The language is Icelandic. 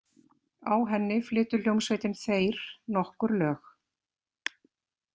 Á henni flytur hljómsveitin Þeyr nokkur lög.